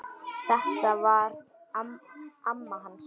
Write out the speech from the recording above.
Þetta var amma hans